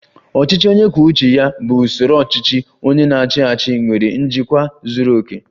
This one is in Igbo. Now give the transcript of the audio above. "Ọchịchị onye kwuo uche ya bụ usoro ọchịchị. Onye na-achị achị nwere njikwa zuru oke"